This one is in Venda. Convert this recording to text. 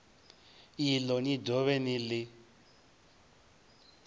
iḽo ni dovhe ni ḽi